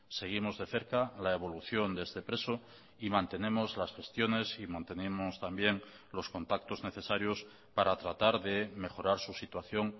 seguimos de cerca la evolución de este preso y mantenemos las gestiones y mantenemos también los contactos necesarios para tratar de mejorar su situación